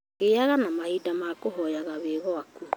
Giaga na mahinda ma kũhoya wĩ gwaku